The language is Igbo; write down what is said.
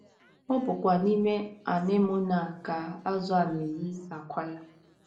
Ọ bụkwa n’ime anemone a ka azụ̀ a na - eyi àkwá ya.